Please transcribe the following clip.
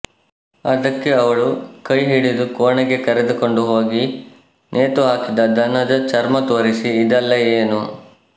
ಅದಕ್ಕೆಅವಳು ಕೈಹಿಡಿದು ಕೋಣೆಗೆ ಕರೆದುಕೊಂಡು ಹೋಗಿ ನೇತು ಹಾಕಿದ ಧನದ ಚರ್ಮ ತೋರಿಸಿ ಇದೆಲ್ಲಾ ಏನು